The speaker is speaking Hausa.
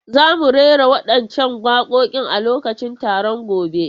Za mu rera waɗancan waƙoƙin a lokacin taron gobe.